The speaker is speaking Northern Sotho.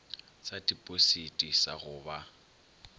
sa tipositi sa go ba